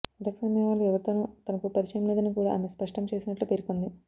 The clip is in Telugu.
డ్రగ్స్ అమ్మేవాళ్లు ఎవరితోనూ తనకు పరిచయం లేదని కూడా ఆమె స్పష్టం చేసినట్లు పేర్కొంది